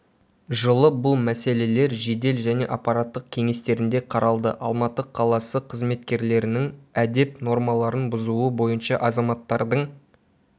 жылы бұл мәселелер жедел және аппараттық кеңестерінде қаралды алматы қаласы қызметкерлерінің әдеп нормаларын бұзуы бойынша азаматтардың